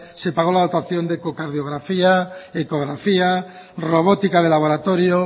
se pagó la dotación de cardiografía ecografía robótica de laboratorio